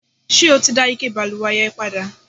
ṣé o ti dá ike ìbalùwẹ̀ yẹn padà?